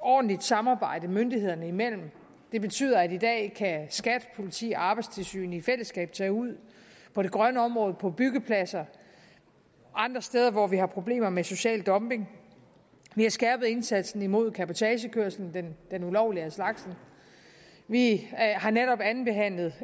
ordentligt samarbejde myndighederne imellem det betyder at i dag kan skat politi og arbejdstilsynet i fællesskab tage ud på de grønne områder på byggepladser og andre steder hvor vi har problemer med social dumping vi har skærpet indsatsen mod cabotagekørsel den ulovlige af slagsen vi har netop andenbehandlet